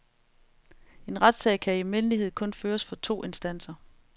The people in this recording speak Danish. En retssag kan i almindelighed kun føres for to instanser.